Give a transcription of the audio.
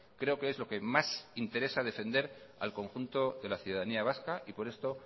creo que es lo que más interesa defender al conjunto de la ciudadanía vasca y por esto